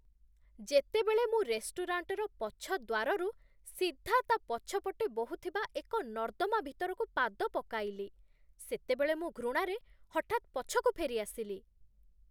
ଯେତେବେଳେ ମୁଁ ରେଷ୍ଟୁରାଣ୍ଟର ପଛ ଦ୍ୱାରରୁ ସିଧା ତା'ପଛପଟେ ବହୁଥିବା ଏକ ନର୍ଦ୍ଦମା ଭିତରକୁ ପାଦ ପକାଇଲି, ସେତେବେଳେ ମୁଁ ଘୃଣାରେ ହଠାତ୍ ପଛକୁ ଫେରିଆସିଲି।